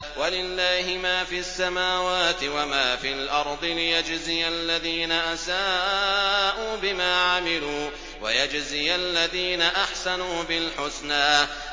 وَلِلَّهِ مَا فِي السَّمَاوَاتِ وَمَا فِي الْأَرْضِ لِيَجْزِيَ الَّذِينَ أَسَاءُوا بِمَا عَمِلُوا وَيَجْزِيَ الَّذِينَ أَحْسَنُوا بِالْحُسْنَى